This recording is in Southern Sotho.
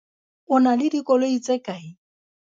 o na le dikoloi tse kae?